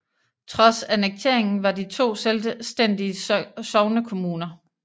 Trods annekteringen var de to selvstændige sognekommuner